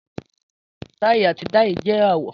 Tai ati dai jẹ awọ.